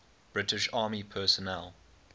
british army personnel